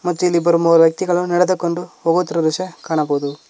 ಮತ್ತು ಇಲ್ಲಿ ಇಬ್ಬರು ಮೂವರು ವ್ಯಕ್ತಿಗಳು ನಡೆದುಕೊಂಡು ಹೋಗುತ್ತಿರುವ ದೃಶ್ಯ ಕಾಣಬಹುದು.